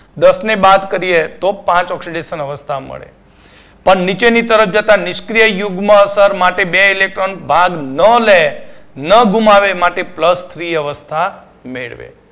દસને બાદ કરીયે તો પાંચ oxidation અવસ્થા મળે પણ નીચેની તરફ જતાં નિષ્ક્રિય યુગ્મ અસર માટે બે electron ભાગ ન લે, ન ગુમાવે માટે plusthree અવસ્થા મેળવે